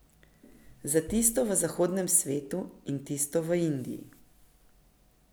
Za tisto v zahodnem svetu in tisto v Indiji.